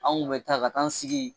Anw kun me taa ka t'an sigi